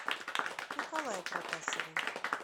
николае протасове